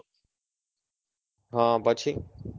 હ પછી?